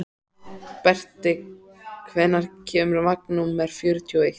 Berti, hvenær kemur vagn númer fjörutíu og eitt?